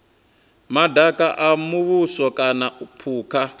madaka a muvhuso kana phukha